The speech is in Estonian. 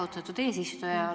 Aitäh, austatud eesistuja!